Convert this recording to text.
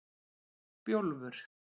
Bjólfur